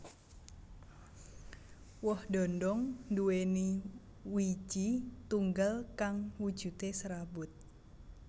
Woh dhondhong nduwèni wiiji tunggal kang wujudé serabut